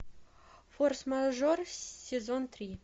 форс мажор сезон три